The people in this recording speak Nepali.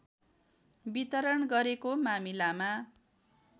वितरण गरेको मामिलामा